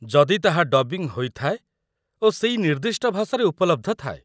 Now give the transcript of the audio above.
ଯଦି ତାହା ଡବିଂ ହୋଇଥାଏ ଓ ସେଇ ନିର୍ଦ୍ଦିଷ୍ଟ ଭାଷାରେ ଉପଲବ୍ଧ ଥାଏ।